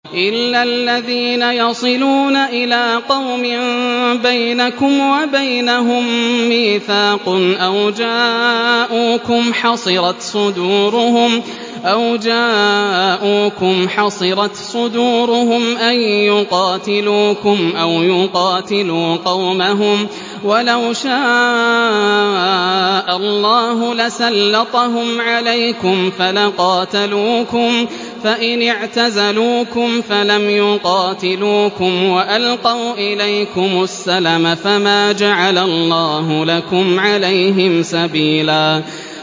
إِلَّا الَّذِينَ يَصِلُونَ إِلَىٰ قَوْمٍ بَيْنَكُمْ وَبَيْنَهُم مِّيثَاقٌ أَوْ جَاءُوكُمْ حَصِرَتْ صُدُورُهُمْ أَن يُقَاتِلُوكُمْ أَوْ يُقَاتِلُوا قَوْمَهُمْ ۚ وَلَوْ شَاءَ اللَّهُ لَسَلَّطَهُمْ عَلَيْكُمْ فَلَقَاتَلُوكُمْ ۚ فَإِنِ اعْتَزَلُوكُمْ فَلَمْ يُقَاتِلُوكُمْ وَأَلْقَوْا إِلَيْكُمُ السَّلَمَ فَمَا جَعَلَ اللَّهُ لَكُمْ عَلَيْهِمْ سَبِيلًا